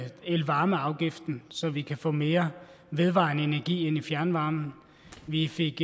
elvarmeafgiften så vi kan få mere vedvarende energi ind i fjernvarmen vi fik